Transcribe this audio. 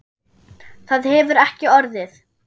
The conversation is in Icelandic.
Það hefur ekki orðið.